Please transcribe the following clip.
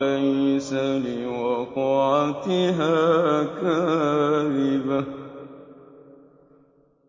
لَيْسَ لِوَقْعَتِهَا كَاذِبَةٌ